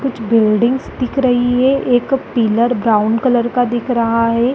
कुछ बिल्डिंगस दिख रही है एक पिलर ब्राउन कलर का दिख रहा है।